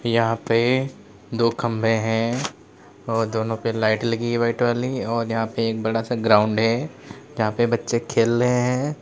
यहां पे दो खंभे हैं और दोनों पे लाइट लगी हुई है वाइट वाली और यहां पे एक बड़ा सा ग्राउंड है जहां पे बच्चे खेल रहे हैं।